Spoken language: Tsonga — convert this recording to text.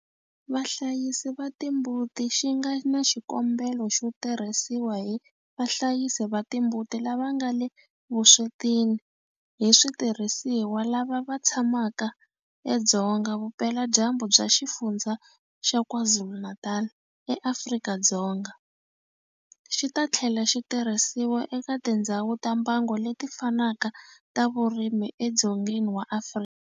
Vahlayisi va timbuti xi nga na xikombelo xo tirhisiwa hi vahlayisi va timbuti lava nga le vuswetini hi switirhisiwa lava va tshamaka edzonga vupeladyambu bya Xifundzha xa KwaZulu-Natal eAfrika-Dzonga, xi ta tlhela xi tirhisiwa eka tindhawu ta mbango leti fanaka ta vurimi edzongeni wa Afrika.